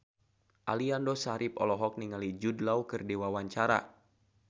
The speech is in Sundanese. Aliando Syarif olohok ningali Jude Law keur diwawancara